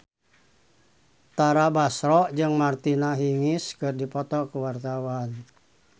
Tara Basro jeung Martina Hingis keur dipoto ku wartawan